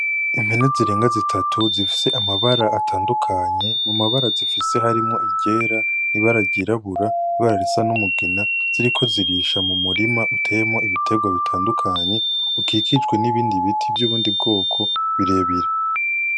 Impene zirenga zitatu zifise amabara atandukanye mumabara zifise harimwo, iryera ibara ryirabura ,Ibara risa n'umugina ,ziriko zirisha m'umurima urimwo ibiterwa bitandukanye ukikijwe n'ibiti vy'ubundi bwoko birebire.